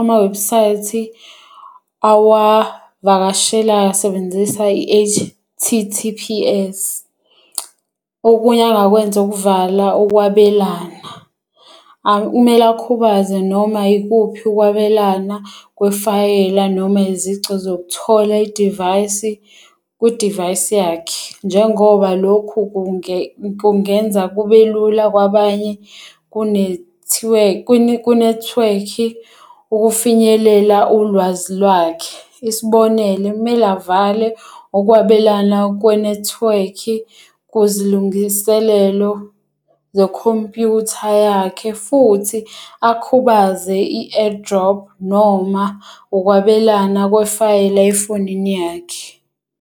amawebusayithi awavakashelayo asebenzisa i-H_T_T_P_S. Okunye angakwenza ukuvala ukwabelana. Kumele akhubaze noma ikuphi ukwabelana kwefayela noma izici zokuthola i-device kwi-device yakhe. Njengoba lokhu kungenza kube lula kwabanye kunethiwekhi ukufinyelela ulwazi lwakhe. Isibonelo, kumele avale ukwabelana kwenethiwekhi kuzilungiselelo zekhompuyutha yakhe futhi akhubaze i-AirDrop noma ukwabelana kwefayela efonini yakhe.